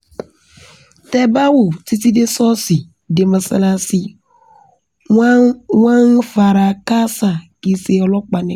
tẹ́ ẹ bá wò ó títí dé sọ́ọ̀sì dé mọ́sáláàsì wọ́n wọ́n ń fara káásà kì í ṣe ọlọ́pàá nìkan